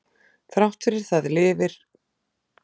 þrátt fyrir það lifir það góðu lífi við hlið græðlinga